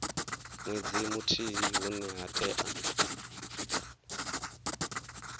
nwedzi muthihi hune ha tea